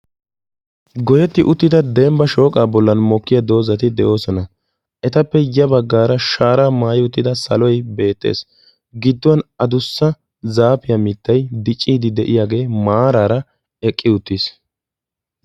Goyetti uttida dembba shooqaa bollan mokkiya doozzati de'oosina. Etappe ya baggaara shaaraa maayi uttida saloy beettees. Gidduwan adussa zaafiya mittay dicciiddi de'iyagee maaraara eqqi uttiis.